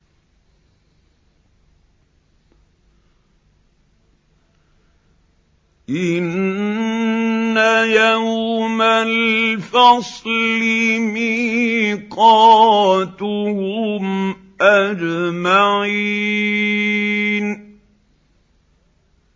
إِنَّ يَوْمَ الْفَصْلِ مِيقَاتُهُمْ أَجْمَعِينَ